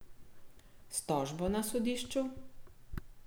S tožbo na sodišču?